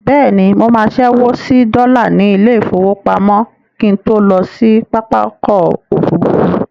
Bẹ́ẹ̀ni, mo máa ṣẹ́wó sí dọ́là ní ilé-ìfowópamọ́ kí n tó lọ sí pápákọ̀ òfurufú.